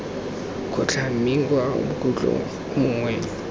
kgotlhang mme kwa bokhutlhong mongwe